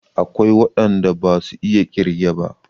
Akwai waɗan da basu iya ƙirge ba.